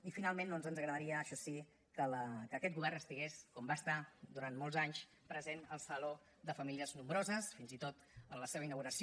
i finalment doncs ens agradaria això sí que aquest govern estigués com va estar durant molts anys present al saló de famílies nombroses fins i tot en la seva inauguració